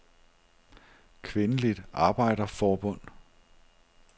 Kvindeligt Arbejderforbund